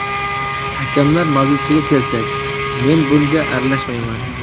Hakamlar mavzusiga kelsak, men bunga aralashmayman.